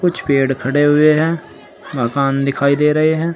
कुछ पेड़ खड़े हुए हैं मकान दिखाई दे रहे हैं।